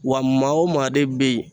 Wa maa o maa de bɛ yen